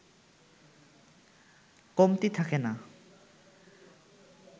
কমতি থাকে না